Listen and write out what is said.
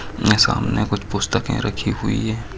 यहाँ यहा सामने कुछ पुस्तके पुस्तकें रखी हुई है।